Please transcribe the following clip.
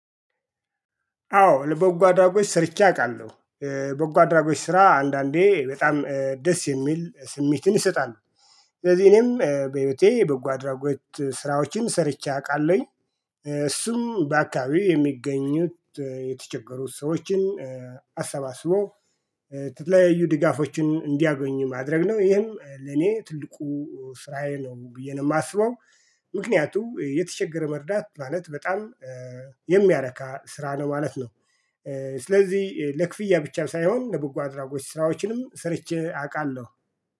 አዎ ለበጎ አድራጎች ስርቼ አውቃለሁ በጎ አድራጎች ስራ አንዳንዴ በጣም ደስ የሚል ስሜትን ይሰጣል። ስለዚህ እኔም በህይወቴ በጎ አድራጎት ስራዎችን ሰርቼ አውቃለሁኝ እሱም በአካባቢው የሚገኙት የተቸገሩት ሰዎችን አሰባስቦ ስትለያዩ ድጋፎችን እንዲያገኝ ማድረግ ነው ይህም ለኔ ትልቁ ስራዬ ነው ብዬ ነው የማስበው። ምክንያቱም የተቸገረ መርዳት ማለት በጣም የሚያረካ ስራ ነው ማለት ነው። ስለዚህ ለክፍያ ብቻ ሳይሆን ለበጎ አድራጎች ስራዎችንም ስርቼ አውቃለሁ